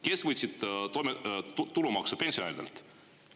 Kes võtsid tulumaksu pensionäridelt?